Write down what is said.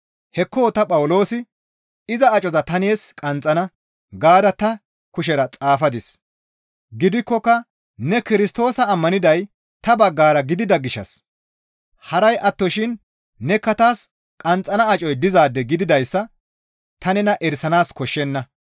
Hekko ta Phawuloosi, «Iza acoza ta nees qanxxana» gaada ta kushera xaafadis; gidikkoka ne Kirstoosa ammaniday ta baggara gidida gishshas haray attoshin nekka taas qanxxana acoy dizaade gididayssa ta nena erisanaas koshshenna.